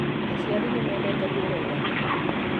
Aciari nĩmendete kũĩrorera thinema